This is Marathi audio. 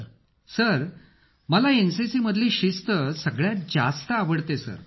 अखिल सर मला एनसीसी मधली शिस्त सगळ्यात जास्त आवडते सर